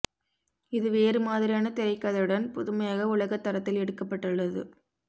இது வேறு மாதிரியான திரைக்கதையுடன் புதுமையாக உலகத் தரத்தில் எடுக்கப்பட்டுள்ளது